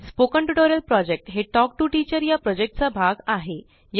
spoken tutorial project हे talk to teacher चा भाग आहे